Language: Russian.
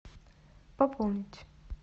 пополнить